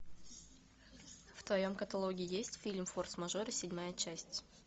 в твоем каталоге есть фильм форс мажоры седьмая часть